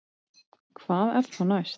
Hvað er þá næst